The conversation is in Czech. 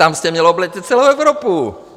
Tam jste měl obletět celou Evropu!